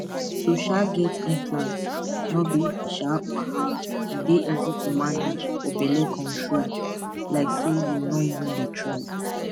to um get implant no be um wahala e dey easy to manage for belle control like say you no even dey try